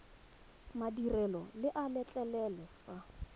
madirelo le a letlelela fa